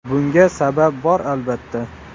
Bunga sabab bor albatta.